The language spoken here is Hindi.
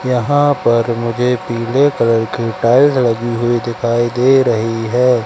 यहां पर मुझे पीले कलर की टाइल लगी हुई दिखाई दे रही है।